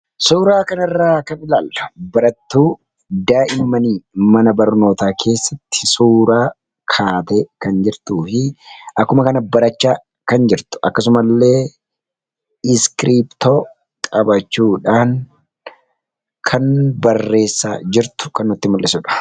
suuraa kan irraa kabilaal barattuu daa'i manii mana barnootaa keessatti suuraa kaatee kan jirtuu fi akkuma kana barachaa kan jirtu akkasuma illee iskiriptoo qapachuudhaan kan barreessaa jirtu kan utti mul'isuudha